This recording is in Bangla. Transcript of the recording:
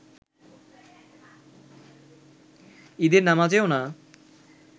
ঈদের নামাজেও না